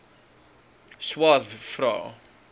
swathe vra